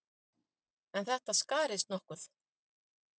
En þetta skarist nokkuð.